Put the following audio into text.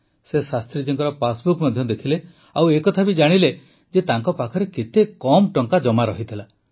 ସେ ଶାସ୍ତ୍ରୀଜୀଙ୍କ ପାସବୁକ୍ ମଧ୍ୟ ଦେଖିଲେ ଓ ଏକଥା ବି ଜାଣିଲେ ଯେ ତାଙ୍କ ପାଖରେ କେତେ କମ୍ ଟଙ୍କା ଜମା ରହିଥିଲା